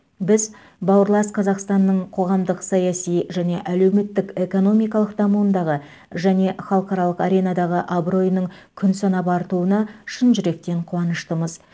біз бауырлас қазақстанның қоғамдық саяси және әлеуметтік экономикалық дамуындағы және халықаралық аренадағы абыройының күн санап артуына шын жүректен қуаныштымыз